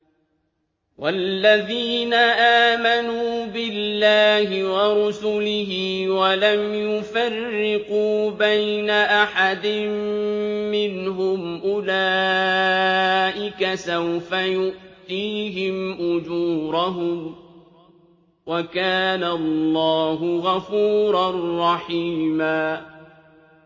وَالَّذِينَ آمَنُوا بِاللَّهِ وَرُسُلِهِ وَلَمْ يُفَرِّقُوا بَيْنَ أَحَدٍ مِّنْهُمْ أُولَٰئِكَ سَوْفَ يُؤْتِيهِمْ أُجُورَهُمْ ۗ وَكَانَ اللَّهُ غَفُورًا رَّحِيمًا